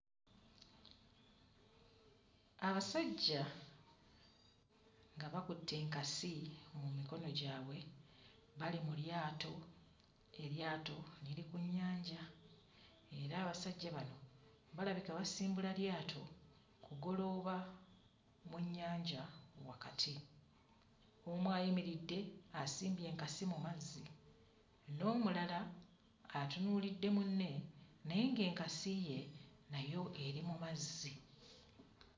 Abasajja nga bakutte enkasi mu mikono gyabwe bali mu lyato, eryato liri ku nnyanja era abasajja bano balabika basimbula lyato kugolooba mu nnyanja wakati, omu ayimiridde asimbye enkasi mu mazzi, n'omulala atunuulidde munne naye ng'enkasi ye nayo eri mu mazzi.